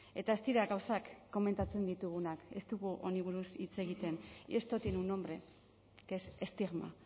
eta ez dira gauzak komentatzen ditugunak ez dugu honi buruz hitz egiten y esto tiene un nombre que es estigma